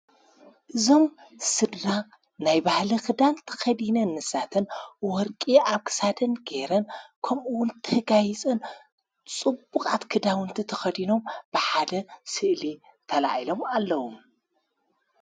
እዞም ስድራ ናይ ባህለ ኽዳን ተኸዲነ እንሳትን ወርቂ ኣብሳድን ጌይረን ኸምኡውን ትሕጋይጽን ጽቡቕ ኣትክዳውንቲ ተኸዲኖም ብሓለ ስእል ተልኢሎም ኣለዉ።